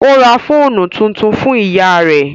Ó ra fóònù tuntun fún ìyá rẹ́